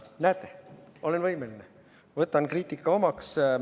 Näete, olen võimeline: võtan kriitika omaks.